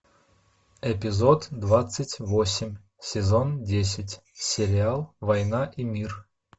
эпизод двадцать восемь сезон десять сериал война и мир